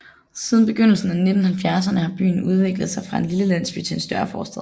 Siden begyndelsen af 1970erne har byen udviklet sig fra en lille landsby til en større forstad